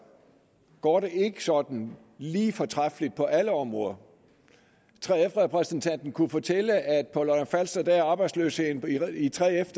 går det ikke sådan lige fortræffeligt på alle områder 3f repræsentanten kunne fortælle at på lolland falster er arbejdsløsheden i 3f